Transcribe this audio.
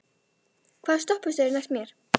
Árný, hvaða stoppistöð er næst mér?